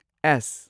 ꯑꯦꯁ